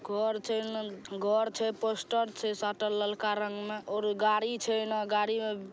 घर छै घर छै पोस्टर छै साटल ललका रंग मे और गाड़ी छै एन गाड़ी--